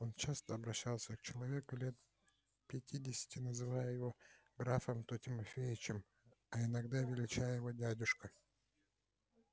он часто обращался к человеку лет пятидесяти называя его то графом то тимофеичем а иногда величая его дядюшкою